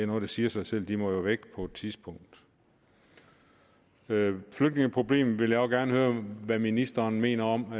noget der siger sig selv de må jo væk på et tidspunkt flygtningeproblemet vil jeg også gerne høre hvad ministeren mener om